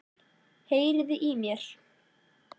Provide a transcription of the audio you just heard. Heyriði í mér?